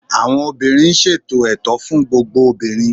awọn obìnrin n ṣètò ẹ̀tọ́ fún gbogbo obìnrin